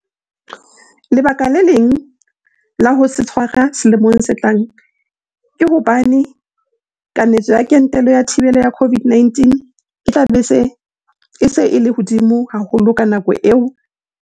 Lebaka le leng la ho se tshwara selemong se tlang ke hobane kanetso ya kentelo ya thibelo ya COVID-19 e tla be e se e le hodimo haholo ka nako eo, e leng se tla thusa hore batho ba tsebe ho eta le ho kgobokana habonolo.